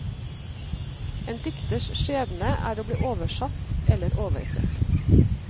En dikters skjebne er å bli oversatt eller oversett.